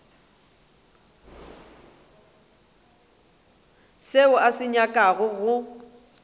seo a se nyakago go